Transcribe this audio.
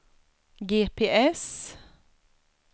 GPS